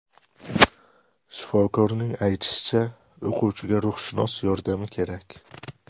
Shifokorning aytishicha, o‘quvchiga ruhshunos yordami kerak.